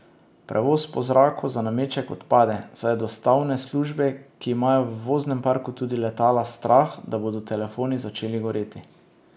Prevoz po zraku za nameček odpade, saj je dostavne službe, ki imajo v voznem parku tudi letala, strah, da bodo telefoni začeli goreti.